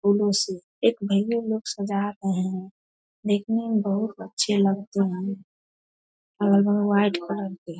फुलों से एक भईया लोग सजा रहे हैं देखने में बहुत अच्छे लगते हैं अगल बगल व्हाइट कलर के --